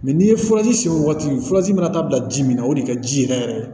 n'i ye furaji siri wagati furaji mana taa bila ji min na o de ka ji yɛrɛ yɛrɛ